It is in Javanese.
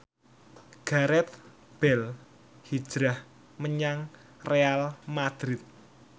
Gareth Bale hijrah menyang Real madrid